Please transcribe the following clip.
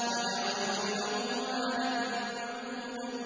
وَجَعَلْتُ لَهُ مَالًا مَّمْدُودًا